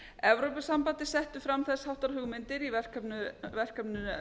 evrópusambandið setti fram þess háttar hugmyndir í verkefninu